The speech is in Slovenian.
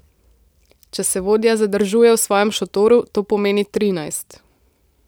Če se vodja zadržuje v svojem šotoru, to pomeni trinajst.